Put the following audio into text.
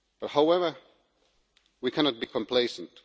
However, we cannot be complacent.